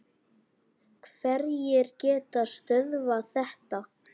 Hverjir geta stöðvað þetta?